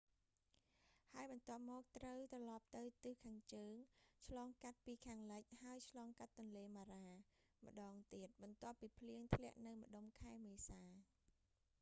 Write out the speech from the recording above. ហើយបន្ទាប់មកត្រូវត្រឡប់ទៅទិសខាងជើង ឆ្លងកាត់ពីខាងលិច ហើយឆ្លងកាត់ទន្លេម៉ារ៉ា mara ម្តងទៀត បន្ទាប់ពីភ្លៀងធ្លាក់នៅម្តុំខែមេសា